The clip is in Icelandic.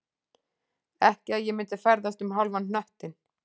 Ekki að ég myndi ferðast um hálfan hnöttinn